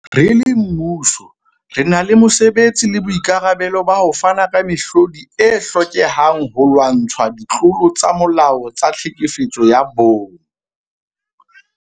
Re le mmuso, re na le mosebetsi le boikarabelo ba ho fana ka mehlodi e hlokehang holwantshwa ditlolo tsa molao tsa tlhekefetso ya bong.